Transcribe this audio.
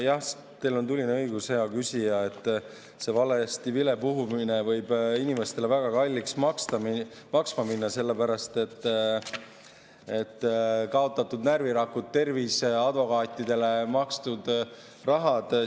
Jah, teil on tuline õigus, hea küsija, see valesti vilepuhumine võib inimestele väga kalliks maksma minna – kaotatud närvirakud, tervis, advokaatidele makstud raha.